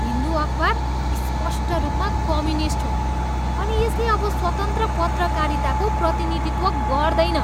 हिन्दू अखबार स्पष्ट रूपमा कम्युनिस्ट हो अनि यसले अब स्वतन्त्र पत्रकारिताको प्रतिनिधित्व गर्दैन।